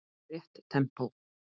Rétt tempó.